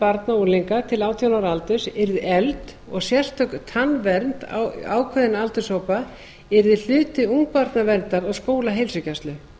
barna og unglinga til átján ára aldurs yrði efld og sérstök tannvernd ákveðinna aldurshópa yrði hluti ungbarnaverndar og skólaheilsugæslu